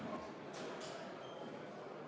Austatud kolleegid, juhataja võetud vaheaeg on lõppenud.